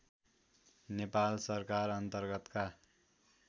नेपाल सरकार अन्तर्गतका